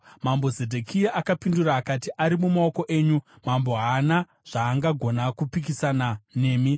Mambo Zedhekia akapindura akati, “Ari mumaoko enyu, Mambo haana zvaangagona kupikisana nemi.”